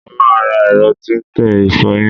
Mo máa ra ẹ̀rọ tí ń tẹ ìfọyín.